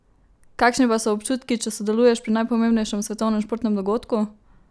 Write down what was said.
Kakšni pa so občutki, če sodeluješ pri najpomembnejšem svetovnem športnem dogodku?